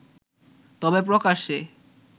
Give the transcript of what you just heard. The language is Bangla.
তবে প্রকাশ্যে